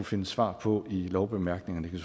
finde svar på i lovbemærkningerne det